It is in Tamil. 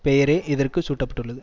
பெயரே இதற்கு சூட்ட பட்டுள்ளது